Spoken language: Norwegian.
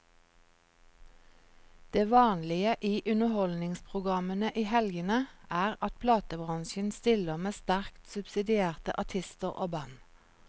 Det vanlige i underholdningsprogrammene i helgene er at platebransjen stiller med sterkt subsidierte artister og band.